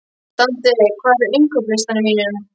Dante, hvað er á innkaupalistanum mínum?